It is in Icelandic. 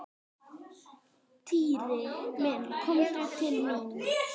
Týri minn komdu til mín.